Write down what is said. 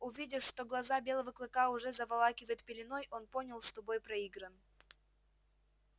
увидев что глаза белого клыка уже заволакивает пеленой он понял что бой проигран